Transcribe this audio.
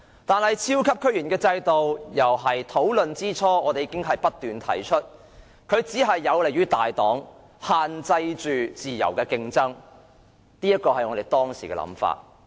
但是，在超級區議員制度討論之初，我們已經不斷指出它只有利於大黨，限制自由競爭，這是我們當時的想法。